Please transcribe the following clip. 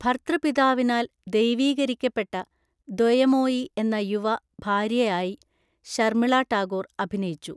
ഭർതൃപിതാവിനാൽ ദൈവീകീകരിക്കപ്പെട്ട ദൊയമോയി എന്ന യുവ ഭാര്യയായി ശർമിള ടാഗോർ അഭിനയിച്ചു.